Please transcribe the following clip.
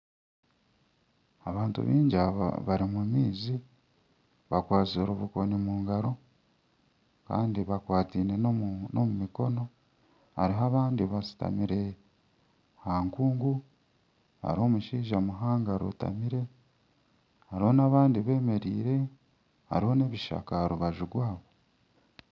Abantu baingi aba bari omu maizi bakwatsire obukoni omungaro Kandi bakwataine na omu mikono hariho abandi bashutamire aha nkungu hariho omushaija muhango arotamire hariho n'abandi bemereire hariho n'ebishaka aha rubaju rwabo.